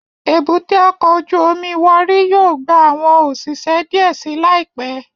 Èbúté ọkọ ojú omi Warri yóò gba awọn oṣiṣẹ diẹ sii laipẹ